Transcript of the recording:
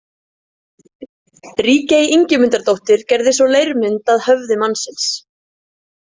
Ríkey Ingimundardóttir gerði svo leirmynd af höfði mannsins.